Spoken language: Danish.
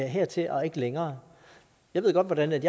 hertil og ikke længere jeg ved godt hvordan jeg